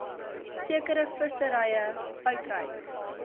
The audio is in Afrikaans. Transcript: sekere visserye uitreik